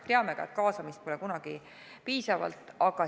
Teame ka, et kaasamist pole kunagi piisavalt.